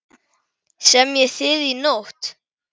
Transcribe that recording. Semjið þið í nótt?